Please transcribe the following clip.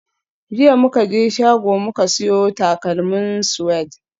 Jiya muka je shago muka siyo takalman Suede